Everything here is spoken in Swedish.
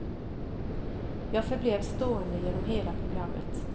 Jag förblev stående genom hela programmet.